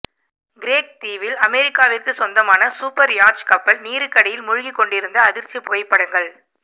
Craig தீவில் அமெரிக்காவிற்கு சொந்தமான சூப்பர்யாட்ச் கப்பல் நீருக்கடியில் முழுகிக்கொண்டிருந்த அதிர்ச்சி புகைப்படங்கள்